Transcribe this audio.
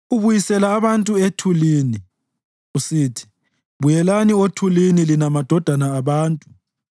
Ubuyisela abantu ethulini, usithi, “Buyelani othulini, lina madodana abantu.”